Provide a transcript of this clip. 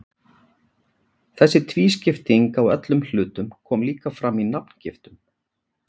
Þessi tvískipting á öllum hlutum kom líka fram í nafngiftum.